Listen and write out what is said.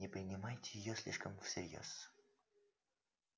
не принимайте её слишком всерьёз